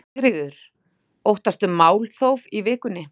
Sigríður: Óttastu málþóf í vikunni?